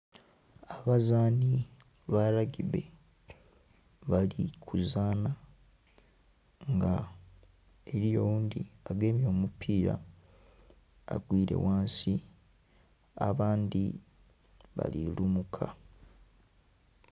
Abazaani ba lagibbe bali kuzaana. Nga eliyo oghundhi agemye omupiira agwire ghansi. Abandhi bali lumuka.